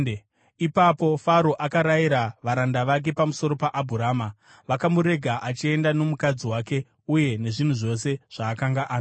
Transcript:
Ipapo Faro akarayira varanda vake pamusoro paAbhurama, vakamurega achienda nomukadzi wake uye nezvinhu zvose zvaakanga anazvo.